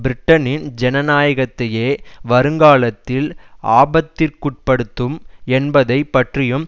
பிரிட்டனின் ஜனநாயகத்தையே வருங்காலத்தில் ஆபத்திற்குட்படுத்தும் என்பதை பற்றியும்